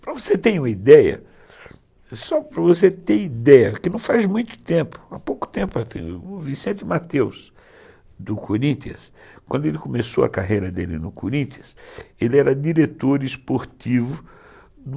Para você ter uma ideia, só para você ter ideia, que não faz muito tempo, há pouco tempo, o Vicente Matheus, do Corinthians, quando ele começou a carreira dele no Corinthians, ele era diretor esportivo do...